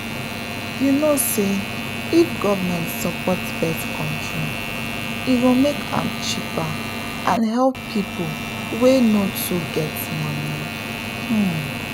you know say if government support birth control e go make am cheaper and help people wey no too get money — pause.